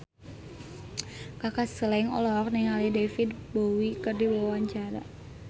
Kaka Slank olohok ningali David Bowie keur diwawancara